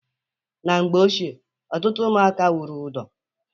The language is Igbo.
Na mgbe ochie ọtụtụ ụmụaka wụrụ ụdọ.